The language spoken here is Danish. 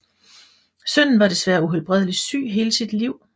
Sønnen var desværre uhelbredeligt syg hele sit liv